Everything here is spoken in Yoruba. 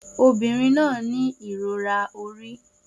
Obìnrin náà ní ìrora orí